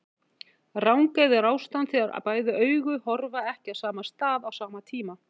Rangeygð er ástand þegar bæði augu horfa ekki á sama stað á sama tíma.